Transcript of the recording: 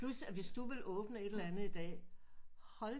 Plus at hvis du ville åbne et eller andet i dag hold